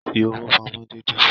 Fi owó pamọ́ déédéé.